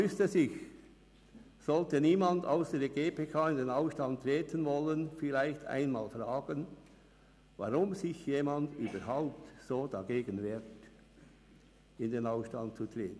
Sollte niemand ausser der GPK in den Ausstand treten wollen, müsste man sich vielleicht fragen, weshalb sich jemand so sehr dagegen wehrt, in den Ausstand zu treten.